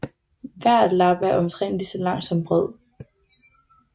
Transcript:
Hver lap er omtrent lige så lang som bred